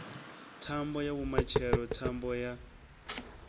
thambo ya mutshelo thambo ya